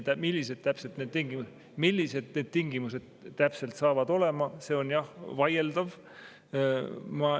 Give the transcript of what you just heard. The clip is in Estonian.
See, millised tingimused täpselt hakkavad olema, on jah vaieldav.